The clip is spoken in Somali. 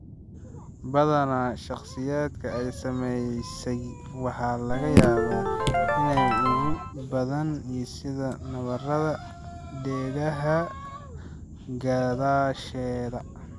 Badanaa, shakhsiyaadka ay saameysay waxaa laga yaabaa inay u gubaan sida nabarada dhegaha gadaasheeda.